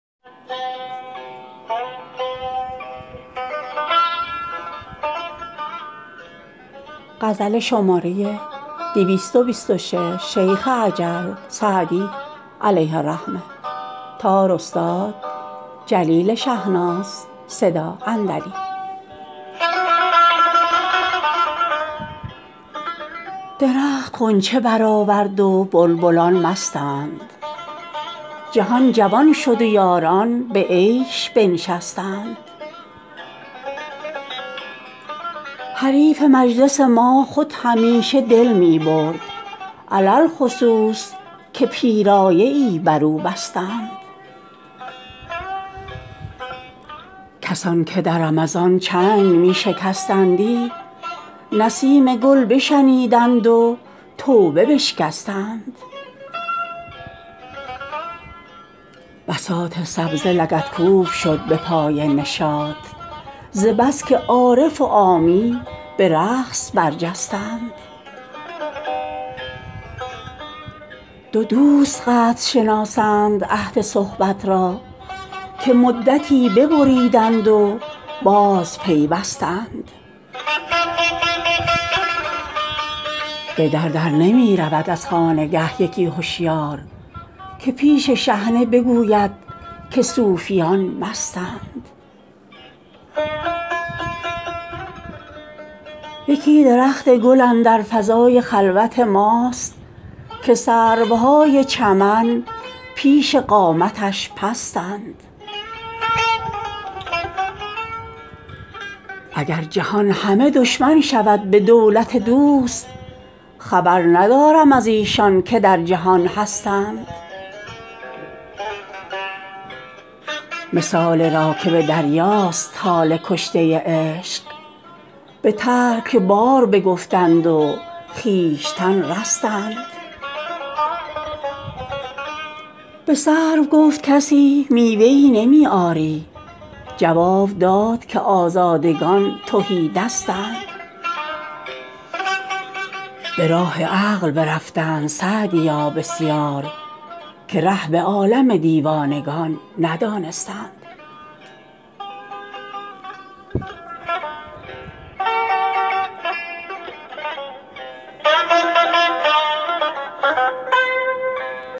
درخت غنچه برآورد و بلبلان مستند جهان جوان شد و یاران به عیش بنشستند حریف مجلس ما خود همیشه دل می برد علی الخصوص که پیرایه ای بر او بستند کسان که در رمضان چنگ می شکستندی نسیم گل بشنیدند و توبه بشکستند بساط سبزه لگدکوب شد به پای نشاط ز بس که عارف و عامی به رقص برجستند دو دوست قدر شناسند عهد صحبت را که مدتی ببریدند و بازپیوستند به در نمی رود از خانگه یکی هشیار که پیش شحنه بگوید که صوفیان مستند یکی درخت گل اندر فضای خلوت ماست که سروهای چمن پیش قامتش پستند اگر جهان همه دشمن شود به دولت دوست خبر ندارم از ایشان که در جهان هستند مثال راکب دریاست حال کشته عشق به ترک بار بگفتند و خویشتن رستند به سرو گفت کسی میوه ای نمی آری جواب داد که آزادگان تهی دستند به راه عقل برفتند سعدیا بسیار که ره به عالم دیوانگان ندانستند